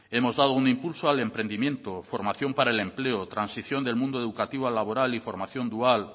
hemos dado un impulso al emprendimiento formación para el empleo transición del mundo educativo al laboral y formación dual